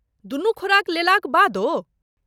दुनू खुराक लेलाक बादो?